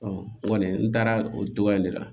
n kɔni n taara o cogoya in de la